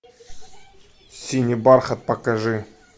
синий бархат покажи